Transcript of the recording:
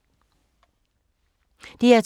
DR2